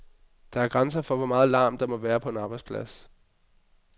Der er grænser for, hvor meget larm, der må være på en arbejdsplads.